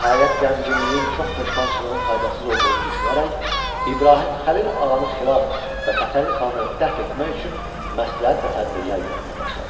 Nəhayət, qəmginliyin çox peşmançılığın faydasız olduğunu düşünərək İbrahim Xəlil ağanı xilas və Fətəli xanı dəf etmək üçün məsləhət və tədbirlər görməyə başladılar.